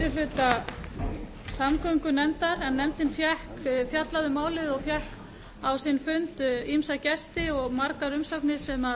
hluta samgöngunefndar nefndin fjallaði um málið og fékk á sinn fund ýmsa gesti og margar umsagnir sem